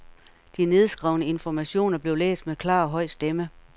De nedskrevne informationer blev læst med klar og høj stemme.